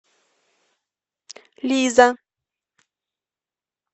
лиза